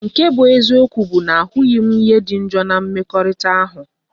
Nke bu eziokwu bu na ahughi m ihe di njo na mmekorita ahu.